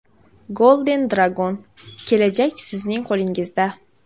Golden Dragon: kelajak sizning qo‘lingizda.